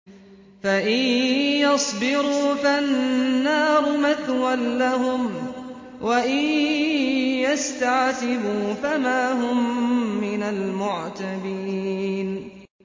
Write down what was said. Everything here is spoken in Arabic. فَإِن يَصْبِرُوا فَالنَّارُ مَثْوًى لَّهُمْ ۖ وَإِن يَسْتَعْتِبُوا فَمَا هُم مِّنَ الْمُعْتَبِينَ